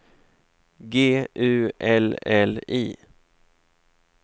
G U L L I